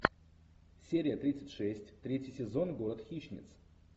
серия тридцать шесть третий сезон город хищниц